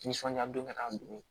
Nisɔndiya don ka taa dun